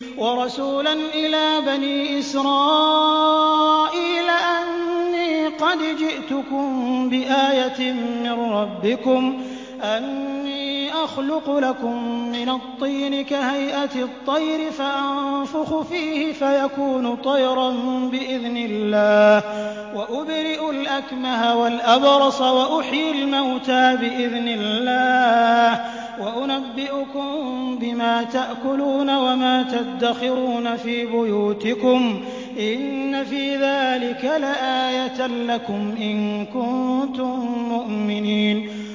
وَرَسُولًا إِلَىٰ بَنِي إِسْرَائِيلَ أَنِّي قَدْ جِئْتُكُم بِآيَةٍ مِّن رَّبِّكُمْ ۖ أَنِّي أَخْلُقُ لَكُم مِّنَ الطِّينِ كَهَيْئَةِ الطَّيْرِ فَأَنفُخُ فِيهِ فَيَكُونُ طَيْرًا بِإِذْنِ اللَّهِ ۖ وَأُبْرِئُ الْأَكْمَهَ وَالْأَبْرَصَ وَأُحْيِي الْمَوْتَىٰ بِإِذْنِ اللَّهِ ۖ وَأُنَبِّئُكُم بِمَا تَأْكُلُونَ وَمَا تَدَّخِرُونَ فِي بُيُوتِكُمْ ۚ إِنَّ فِي ذَٰلِكَ لَآيَةً لَّكُمْ إِن كُنتُم مُّؤْمِنِينَ